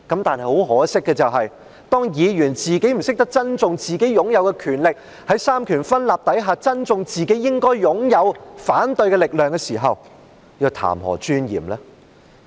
但很可惜的是，當議員不懂得珍惜自己擁有的權力，不懂得在三權分立之下珍惜自己應該擁有的反對力量的時候，又談何尊嚴呢？